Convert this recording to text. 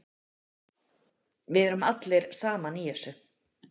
Við erum allir saman í þessu.